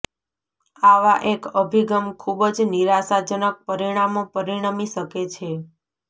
આવા એક અભિગમ ખૂબ જ નિરાશાજનક પરિણામો પરિણમી શકે છે